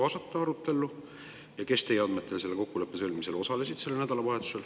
Ja kes teie andmetel sellel nädalavahetusel selle kokkuleppe sõlmimisel osalesid?